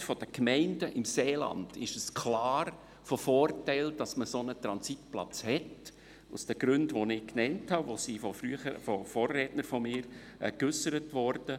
Für die Gesamtheit der Gemeinden im Seeland ist es klar von Vorteil, dass man einen solchen Transitplatz hat, aus den von mir und von Vorrednern genannten Gründen.